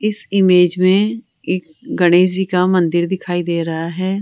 इस इमेज में एक गणेश जी का मंदिर दिखाई दे रहा है।